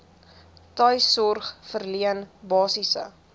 tuissorg verleen basiese